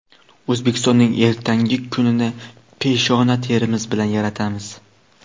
O‘zbekistonning ertangi kunini peshona terimiz bilan yaratamiz.